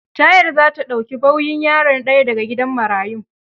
Ta yarda za ta dauki bauyin yaro daya da ga gidan marayun.